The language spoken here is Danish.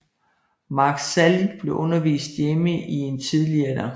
Mark Salling blev undervist hjemme i en tidlig alder